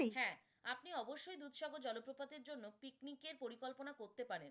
হ্যাঁ আপনি অবশ্যই দুধ সাগর জলপ্রপাতের জন্য picnic এর পরিকল্পনা করতে পারেন।